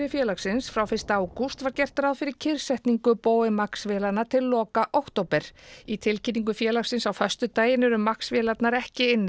félagsins frá fyrsta ágúst var gert ráð fyrir kyrrsetningu Boeing Max vélanna til loka október í tilkynningu félagsins á föstudaginn eru Max vélarnar ekki inni